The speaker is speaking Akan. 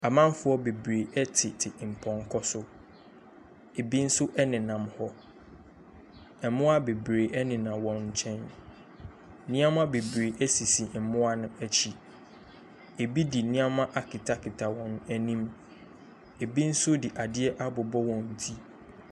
Amamfoɔ bebree tete mpɔnkɔ so, bi nso nenam hɔ, mmoa bebree nenam wɔn nkyɛn, nneɛma bebree sisi mmoa no akyi, bi de nneɛma akatakata wɔn anim, bi nso de adeɛ abobɔ wɔn ti.